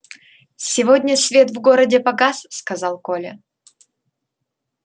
сегодня свет в городе погас сказал коля